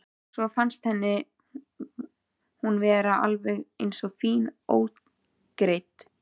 Svo fannst henni hún vera alveg eins fín ógreidd.